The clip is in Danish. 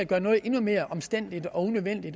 gør noget endnu mere omstændeligt og